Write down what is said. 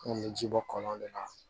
An kun bɛ ji bɔ kɔlɔn de la